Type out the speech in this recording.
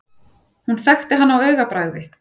Hún þekkti hann á augabragði.